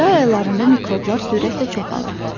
Yay aylarında mikroblar sürətlə çoxalır.